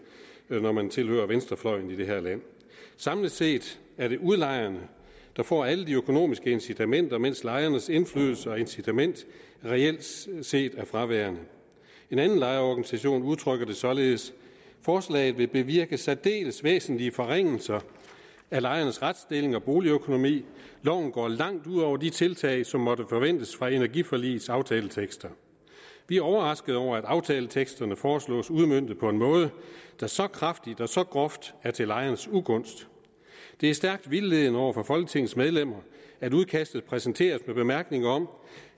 når man tilhører venstrefløjen i det her land samlet set er det udlejerne der får alle de økonomiske incitamenter mens lejernes indflydelse og incitament reelt set set er fraværende en anden lejerorganisation udtrykker det således forslaget vil bevirke særdeles væsentlige forringelser af lejernes retsstilling og boligøkonomi loven går langt ud over de tiltag som måtte forventes fra energiforligets aftaletekster vi er overraskede over at aftaleteksterne foreslås udmøntet på en måde der så kraftigt og så groft er til lejernes ugunst det er stærkt vildledende over for folketingets medlemmer at udkastet præsenterers med bemærkningen om